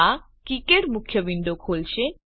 આ કિકાડ મુખ્ય વિન્ડો ખોલશે